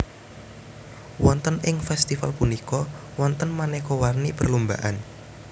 Wonten ing festival punika wonten manéka warni perlombaan